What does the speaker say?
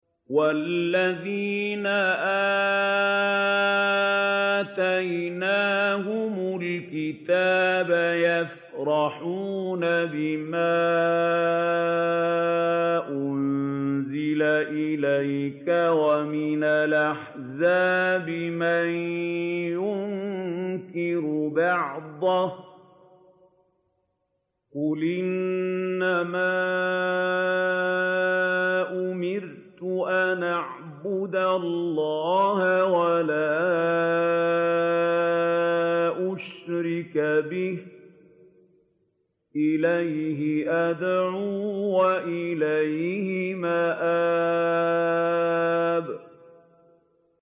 وَالَّذِينَ آتَيْنَاهُمُ الْكِتَابَ يَفْرَحُونَ بِمَا أُنزِلَ إِلَيْكَ ۖ وَمِنَ الْأَحْزَابِ مَن يُنكِرُ بَعْضَهُ ۚ قُلْ إِنَّمَا أُمِرْتُ أَنْ أَعْبُدَ اللَّهَ وَلَا أُشْرِكَ بِهِ ۚ إِلَيْهِ أَدْعُو وَإِلَيْهِ مَآبِ